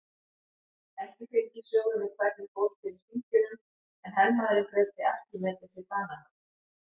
Ekki fylgir sögunni hvernig fór fyrir hringjunum en hermaðurinn greiddi Arkímedesi banahögg.